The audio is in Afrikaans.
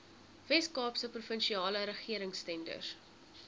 weskaapse provinsiale regeringstenders